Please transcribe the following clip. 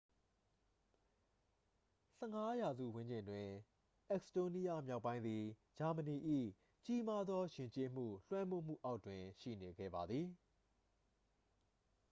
15 ရာစုဝန်းကျင်တွင် အက်စ်တိုးနီးယား မြောက်ပိုင်းသည် ဂျာမနီ၏ ကြီးမားသော ယဉ်ကျေးမှု လွှမ်းမိုးမှုအောက်တွင် ရှိနေခဲ့ပါသည်